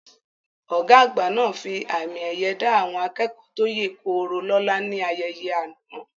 Ọ̀gá àgbà náà fi àmì ẹ̀yẹ dá àwọn akẹ́kọ̀ọ́ tó yè koro lóla ní ayẹyẹ àná